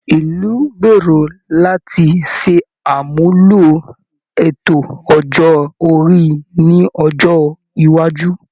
Ìlú ń gbèrò láti ṣàmúlò ètò ọjọ́ orí ní ọjọ́ iwájú